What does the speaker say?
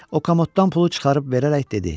O kamoddan pulu çıxarıb verərək dedi: